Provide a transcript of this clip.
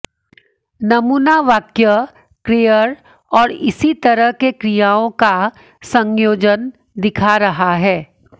नमूना वाक्य क्रेयर और इसी तरह के क्रियाओं का संयोजन दिखा रहा है